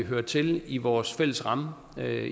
hører til i vores fælles ramme